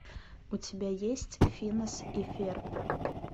у тебя есть финес и ферб